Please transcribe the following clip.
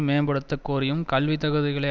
மேம்படுத்த கோரியும் கல்வி தகுதிகளை